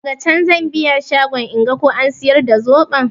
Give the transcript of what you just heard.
Daga can zan biya shagon inga ko an siyar da zoɓon.